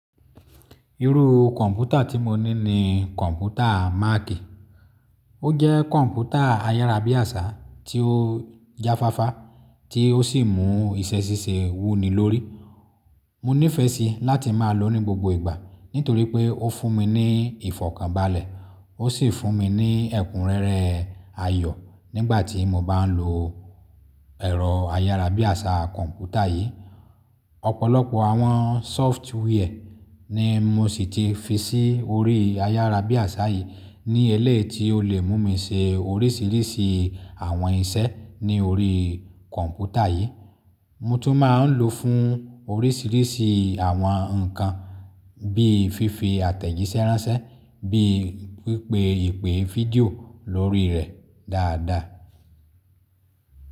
Irú kọ̀ǹpútà tí mo ní ni kọ̀ǹpútà Mac. Ó jẹ́ kọ̀ǹpútà ayárábiàsá tí ó jáfáfá tí ó sì mú iṣẹ́ ṣíṣe wú ni lórí. Mo nífẹ̀ẹ́ síi láti máa lòó ní gbogbo ìgbà nítorí pé ó fún mi ní ìfọ̀kànbalẹ̀, ó sì fún mi ní ẹ̀kúnrẹ́rẹ́ ayọ̀ nígbà tí mo bá ń lo ẹ̀rọ ayárábiàsá kọ̀ǹpútà yìí. Ọ̀pọ̀lọpọ̀ àwọn sóftíwíẹ̀ ni mo sì ti fi sí orí ayárábiàsá yìí ní ẹleyi ti ó lè mú mi ṣe oríṣìíríṣìí àwọn iṣẹ́ ní orí kọ̀ǹpútà yìí. Mo tún máa ń lòó fún oríṣìíríṣìí àwọn nǹkan bí i fífi àtẹ̀jíṣẹ́ ránṣẹ́, bí i pípè ìpè fídíò lórí rẹ̀ dáadáa.